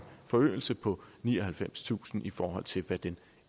forøgelse på nioghalvfemstusind i forhold til hvad den